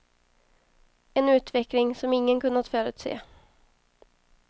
En utveckling som ingen kunnat förutse.